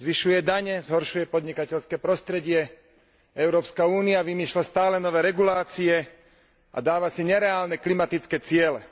Zvyšuje dane, zhoršuje podnikateľské prostredie, Európska únia vymýšľa stále nové regulácie a dáva si nereálne klimatické ciele.